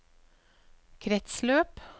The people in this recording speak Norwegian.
kretsløp